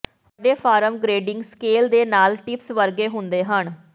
ਵੱਡੇ farm grading scale ਦੇ ਨਾਲ ਟਿਪਸ ਵਰਗੇ ਹੁੰਦੇ ਹਨ